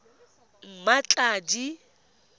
mmatladi